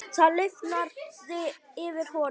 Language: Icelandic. Það lifnaði yfir honum.